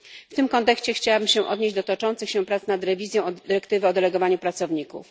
W tym kontekście chciałam się odnieść do toczących się prac nad rewizją dyrektywy o delegowaniu pracowników.